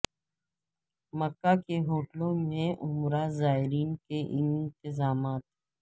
مکہ کے ہوٹلوں میں عمرہ زائرین کے لیے انتظامات